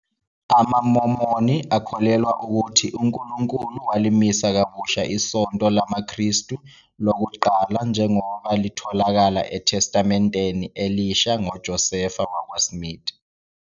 AmaMormon akholelwa ukuthi uNkulunkulu walimisa kabusha iSonto LamaKristu lokuqala njengoba litholakala eTestamenteni Elisha ngoJoseph Smith.